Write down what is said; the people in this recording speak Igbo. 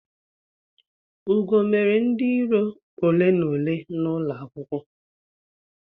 Ugo mere ndi iro ole na ole n'ulo akwukwo